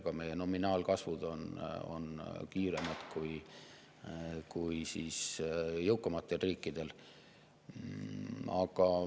Ka meie nominaalkasvud on kiiremad kui jõukamatel riikidel.